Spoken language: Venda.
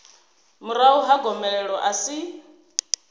murahu ha gomelelo a si